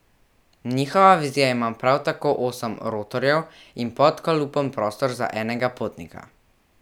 Njihova vizija ima prav tako osem rotorjev in pod kalupom prostor za enega potnika.